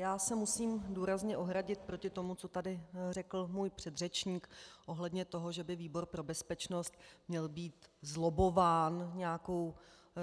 Já se musím důrazně ohradit proti tomu, co tady řekl můj předřečník ohledně toho, že by výbor pro bezpečnost měl být zlobbován